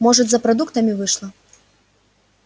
может за продуктами вышла